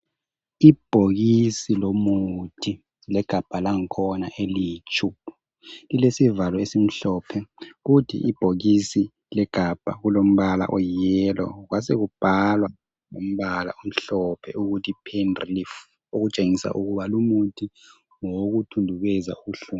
Ibhokisi lomuthi legabha lakhona eliyitshumbu lilesivalo esihlophe kodwa ibhokisi legabha kulompala oyiyelo kwasekumbalwa ngompala omhlophe ukuthi pain relief okutshengisela ukuba lumuthi ngowokuthundubeza ubuhlungu.